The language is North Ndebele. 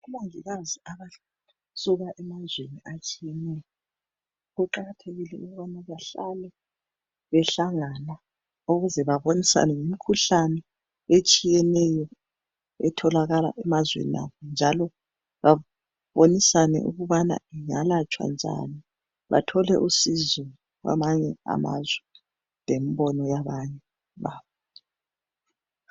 Omongikazi abasuka emazweni atshiyeneyo. Kuqakathekile ukubana bahlale behlangana. Ukuze babonisane ngemikhuhlane etshiyeneyo. Etholakala emazweni abo, njalo babonisane ukubana ingalatshwa njani, bathole usizo, kwamanye amazwe, lembono yabanye babo.